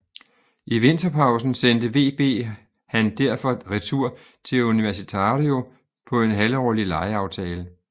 I vinterpausen sendte VB han derfor retur til Universitario på en halvårlig lejeaftale